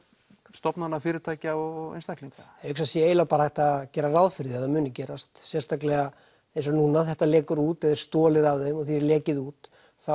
stofnanna fyrirtækja og einstaklinga ég hugsa sé eiginlega bara hægt að gera ráð fyrir því að það muni gerast sérstaklega eins og núna þetta lekur út eða er stolið af þeim og því er lekið út þá